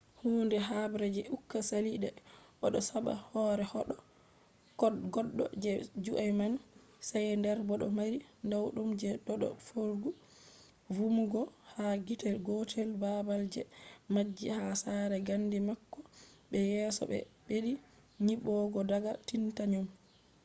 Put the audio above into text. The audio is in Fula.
hunde habre je uka sali de odo sabba hore goddo je jui man. schneider bo do mari nawdum je dodo feugo vumugo ha gite gotel babal je majji ha sare gandi mako be yeso je be beddi nyibugo daga titanium